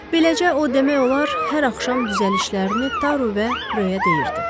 Beləcə o demək olar hər axşam düzəlişlərini Taru və Röyə deyirdi.